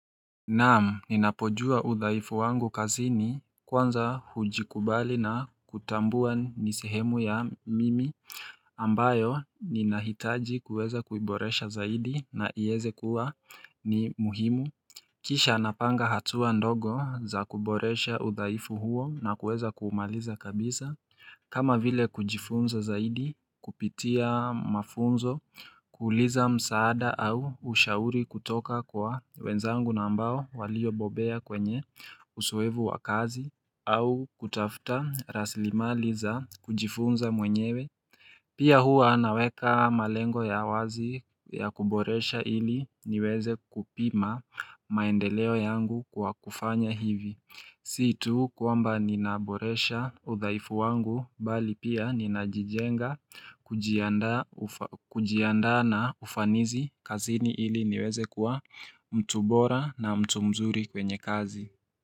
Naam, ninapojua udhaifu wangu kazini kwanza hujikubali na kutambua nisehemu ya mimi ambayo ninahitaji kuweza kuiboresha zaidi na ieze kuwa ni muhimu Kisha napanga hatua ndogo za kuboresha udhaifu huo na kuweza kuumaliza kabisa kama vile kujifunza zaidi kupitia mafunzo kuuliza msaada au ushauri kutoka kwa wenzangu na ambao walio bobea kwenye uzuevu wa kazi au kutafta raslimali za kujifunza mwenyewe. Pia hua naweka malengo ya wazi ya kuboresha ili niweze kupima maendeleo yangu kwa kufanya hivi. Situ kwamba ninaboresha uthaifu wangu bali pia ninajijenga kujiandaa na ufanizi kazini ili niweze kuwa mtu bora na mtu mzuri kwenye kazi.